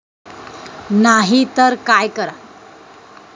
नाही तर काय कराल?